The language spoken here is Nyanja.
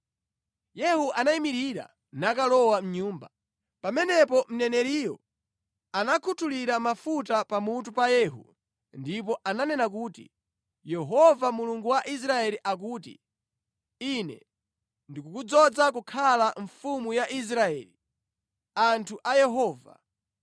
Yehu anayimirira nakalowa mʼnyumba. Pamenepo mneneriyo anakhuthulira mafuta pamutu pa Yehu ndipo ananena kuti, “Yehova Mulungu wa Israeli akuti, ‘Ine ndikukudzoza kukhala mfumu ya Israeli, anthu a Yehova.